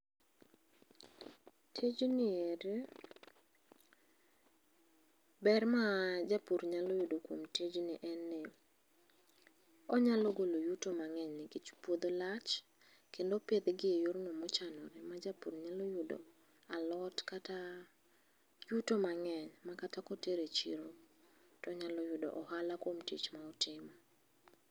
Tijniendi ber ma japur nyalo yudo kuom tijni en ni, onyalo golo yuto mang'eny nikech puodho lach kendo opidh gi e yor no mochanore a hapur nyalo yudo alot kata yuto mang'eny makata kotero e chiro to onyalo yudo ohala kuom tich ma otimo.